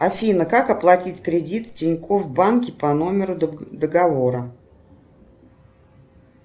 афина как оплатить кредит в тинькофф банке по номеру договора